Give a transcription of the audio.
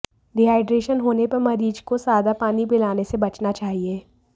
dehydration होने पर मरीज को सादा पानी पिलाने से बचना चाहिए